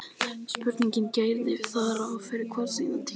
Spurningin gerir ráð fyrir hversdagslegri sýn á tímann.